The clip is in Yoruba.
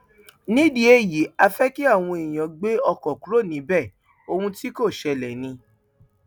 nídìí èyí á fẹ kí àwọn èèyàn gbé ọkàn kúrò níbẹ ohun tí kò ṣẹlẹ ni